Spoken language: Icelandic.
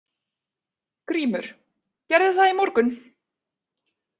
GRÍMUR: Gerði það í morgun!